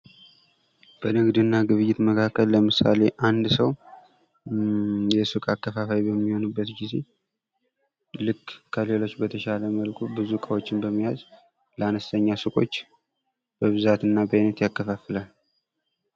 በንግድ እና ግብይት መካከል ምሳሌ አንድ ሰው የሱቅ አከፋፋይ በሚሆንበት ጊዜ ከሌሎች በተሻለ መልኩ ብዙ እቃዎችን በመያዝ ለአንስተኛ ሱቆች በብዛት እና በአይነት ያከፋፍላል።